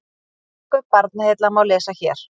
Tilkynningu Barnaheilla má lesa hér